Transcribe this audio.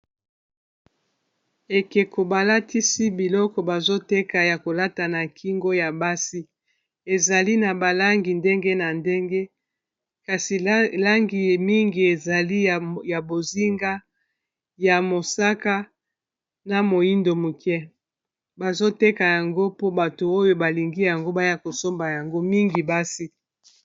ekeko balatisi biloko bazoteka ya kolata na kingo ya basi ezali na balangi ndenge na ndenge kasi langi mingi ezali ya bozinga ya mosaka na moindo moke bazoteka yango mpo bato oyo balingi yango baya kosomba yango mingi basi